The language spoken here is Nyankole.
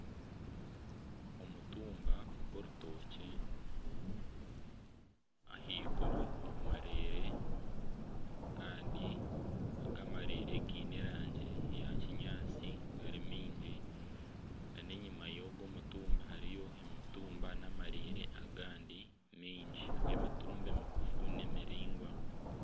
Omutumba gw'orutookye ahaiguru omu mareere kandi aga amareere gaine erangi eya kinyaatsi nana enyima y'ogwo omutumba hariyo amarere agandi mingi g'emitumba emigufu n'emiraingwa